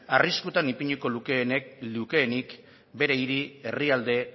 arriskutan ipiniko lukeenik bere hiri herrialde